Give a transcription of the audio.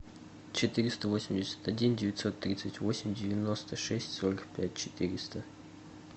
четыреста восемьдесят один девятьсот тридцать восемь девяносто шесть сорок пять четыреста